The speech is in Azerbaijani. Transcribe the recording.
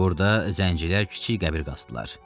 Burda zəncilər kiçik qəbir qazdılar.